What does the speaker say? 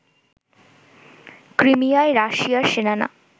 ক্রিমিয়ায় রাশিয়ার সেনারা